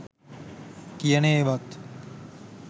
කියන ඒවත්